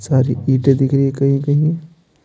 सारी ईटे दिख रही है कहीं-कहीं--